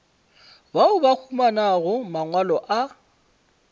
bao ba humanago mangwalo a